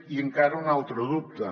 i encara un altre dubte